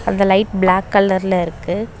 அந்த light black கலர்ல இருக்கு.